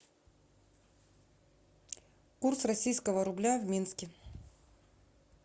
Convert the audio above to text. курс российского рубля в минске